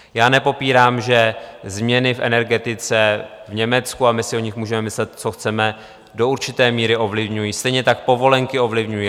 Já nepopírám, že změny v energetice v Německu, a my si o nich můžeme myslet, co chceme, do určité míry ovlivňují, stejně tak povolenky ovlivňují.